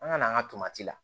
An ka na an ka tomati la